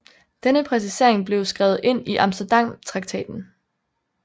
Denne præcisering blev skrevet ind i Amsterdamtraktaten